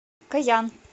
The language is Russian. коян